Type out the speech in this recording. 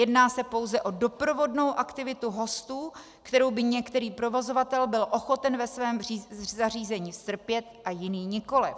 Jedná se pouze o doprovodnou aktivitu hostů, kterou by některý provozovatel byl ochoten ve svém zařízení strpět a jiný nikoliv.